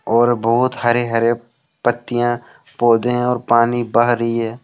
और बहुत हरे-हरे पत्तियां पौधे हैं और पानी बह रही है।